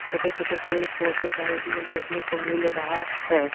छोटे छोटे पेड़ पौधे साइड मे देखने को मिल रहा है।